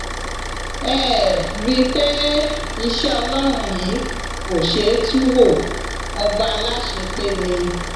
ẹ ẹ rí i pé iṣẹ ọlọrun yìí kò ṣeé tú wo ọba aláṣepé ni